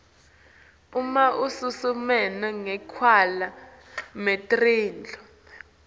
uma usimeme sakhelwa netindlu